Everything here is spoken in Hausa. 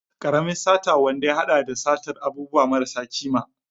Karamin sata wanda ya hada da satar abubuwa marasa kima.